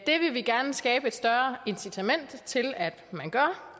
det vil vi gerne skabe et større incitament til at man gør